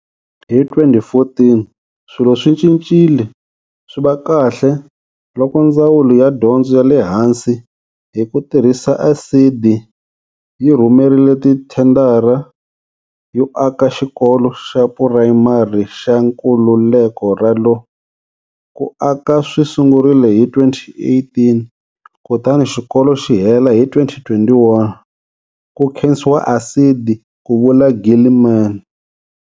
Hi 2014, swilo swi cincile swi va kahle loko Ndzawulo ya Dyondzo ya le Hansi, hi ku tirhisa ASIDI, yi rhumerile tithendara yo aka Xikolo xa Purayimari xa Nkululeko Ralo Ku aka swi sungurile hi 2018 kutani xikolo xi hela hi 2021, ku khensiwa ASIDI, ku vula Gilman.